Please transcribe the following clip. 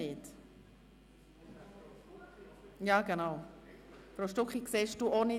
Oder sehe ich Grossrätin Stucki einfach nicht?